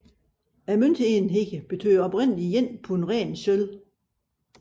Møntenheden betød oprindeligt ét pund ren sølv